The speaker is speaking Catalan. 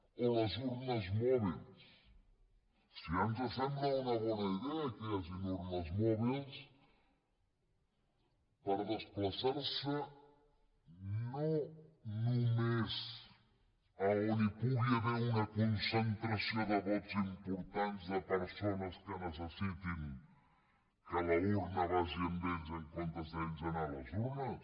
o les urnes mòbils si ja ens sembla una bona idea que hi hagi urnes mòbils per desplaçar se no només on hi pugui haver una concentració de vots importants de persones que necessitin que l’urna vagi amb ells en comptes d’ells anar a les urnes